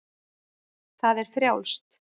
Það er frjálst.